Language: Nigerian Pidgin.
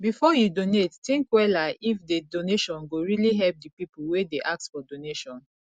before you donate think wella if di donation go really help di pipo wey dey ask for donation